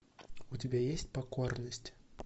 у тебя есть покорность